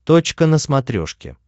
точка на смотрешке